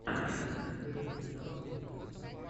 первая серия хашак систерс